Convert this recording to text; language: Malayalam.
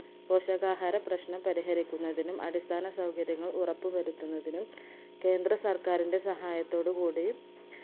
പോഷകാഹാര പ്രശ്നം പരിഹരിക്കുന്നതിനും അടിസ്ഥാന സൗകര്യങ്ങൾ ഉറപ്പ് വരുത്തുന്നതിനും കേന്ദ്ര സർക്കാരിന്റെ സഹായത്തോടു കൂടി